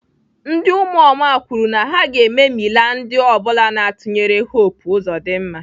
Ndị ụmụoma kwuru na ha ga-ememila ndị ọ bụla na-atụnyere Hope Uzodimma.